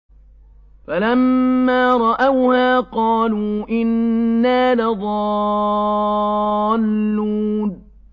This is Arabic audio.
فَلَمَّا رَأَوْهَا قَالُوا إِنَّا لَضَالُّونَ